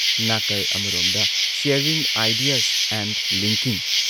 ꯅꯥꯀꯜ ꯑꯃꯔꯣꯝꯗ sharing ideas and linking".